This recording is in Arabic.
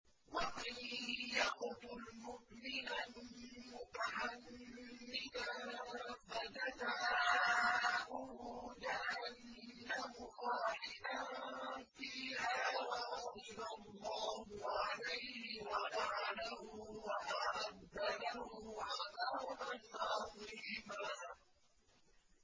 وَمَن يَقْتُلْ مُؤْمِنًا مُّتَعَمِّدًا فَجَزَاؤُهُ جَهَنَّمُ خَالِدًا فِيهَا وَغَضِبَ اللَّهُ عَلَيْهِ وَلَعَنَهُ وَأَعَدَّ لَهُ عَذَابًا عَظِيمًا